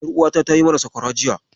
Ƴaruwata ta yi mana sakwara jiya.